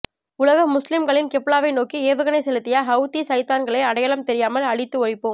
உலக முஸ்லிம்களின் கிப்லாவை நோக்கி ஏவுகணை செலுத்திய ஹவுத்தி ஷைத்தான்களை அடையாளம் தெரியாமல் அழித்து ஒழிப்போம்